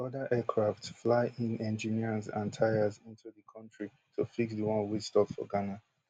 di oda aircraft fly in engineers and tyres into di kontri to fix di one wey stop for ghana